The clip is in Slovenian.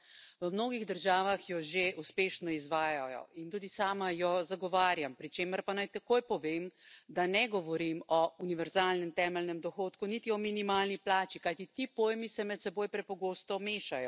V mnogih državah jo že uspešno izvajajo in tudi sama jo zagovarjam, pri čemer pa naj takoj povem, da ne govorim o univerzalnem temeljnem dohodku niti o minimalni plači, kajti ti pojmi se med seboj prepogosto mešajo.